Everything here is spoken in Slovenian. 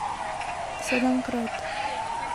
Sedemkrat.